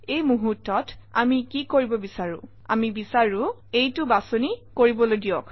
এই মুহূৰ্তত আমি কি কৰিব বিচাৰোঁ আমি বিচাৰোঁ এইটো বাছনি কৰিবলৈ দিয়ক